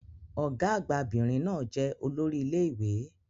Ọ̀gá-àgbà 'bìnrin náà jẹ́ olórí ilé ìwé.